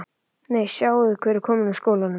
Nei, sjáiði hver er kominn úr skólanum